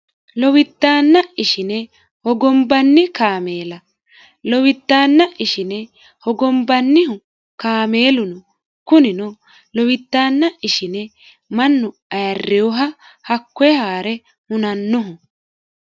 lowiddaanna ishine hogombanni kaameela lowiddaanna ishine hogombannihu kaameelu no kunino lowiddaanna ishine mannu ayarreyoha hakkoye haa're hunannoho